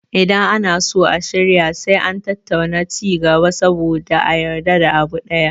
Idan ana so a shirya sai an tattauna ci gaba saboda a yarda da abu ɗaya